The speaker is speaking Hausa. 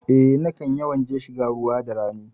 Eh, nakan yawan je shiga ruwa da rani.